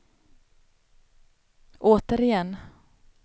återigen